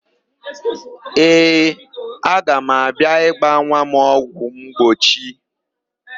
Ee, aga m abịa ịgba nwa m ọgwụmgbochi.